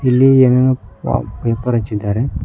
ಇಲ್ಲಿ ಎನೇನೋ ಪ್ರಾ ಪೇಪರ್ ಹಚ್ಚಿದ್ದಾರೆ.